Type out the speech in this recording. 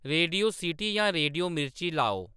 radio city जां radio Mirchi लाओ